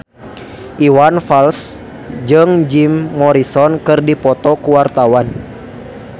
Iwan Fals jeung Jim Morrison keur dipoto ku wartawan